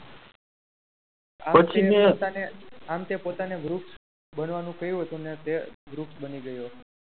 પછીન આમતે પોતાની વૃક્ષ બનવાનું કહ્યું હતું અને તે વૃક્ષ બની ગયો.